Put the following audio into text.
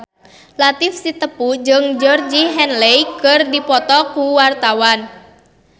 Latief Sitepu jeung Georgie Henley keur dipoto ku wartawan